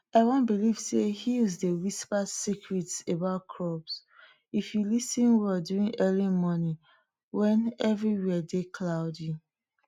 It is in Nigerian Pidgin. we believe say hill dey whisper secret about crops if you lis ten well during early morning wen everywhere dey cloudy